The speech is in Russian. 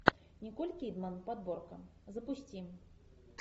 николь кидман подборка запусти